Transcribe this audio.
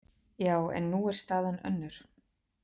Já, en nú er staðan önnur.